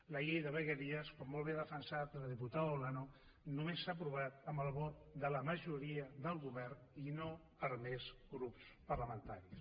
la llei de vegueries com molt bé ha defensat la diputada olano només s’ha aprovat amb el vot de la majoria del govern i no per més grups parlamentaris